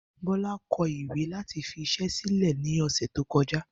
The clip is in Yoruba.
Bó̩lá ko̩ ìwé láti fi is̩é̩ sílè̩ ní ò̩sè̩ tó ko̩já